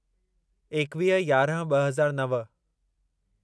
एकवीह यारहं ॿ हज़ार नव